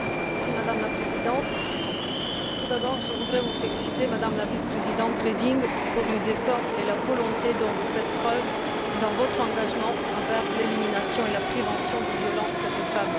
Madame la Présidente, tout d'abord, je voudrais vous féliciter, Madame la vice présidente Reding, pour les efforts et la volonté dont vous faites preuve dans votre engagement envers l'élimination et la prévention des violences faites aux femmes.